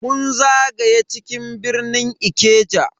Mun zagaya cikin birnin Ikeja